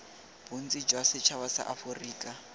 bontsi jwa setšhaba sa aforika